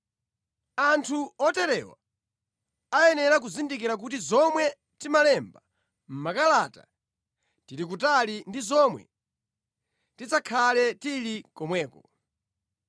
Anthu oterewa ayenera kuzindikira kuti zomwe timalemba mʼmakalata tili kutali ndi zomwe tidzakhale tili komweko.